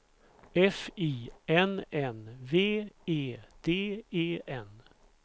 F I N N V E D E N